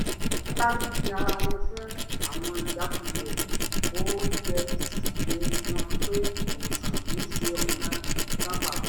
wọ́n dárí ji ara wọn fún àwọn ìjákulẹ̀ òye sì yé wọn pé ìwòsàn kì í ṣe ọ̀nà kan pàtó